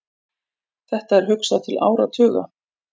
Þetta er hugsað til áratuga.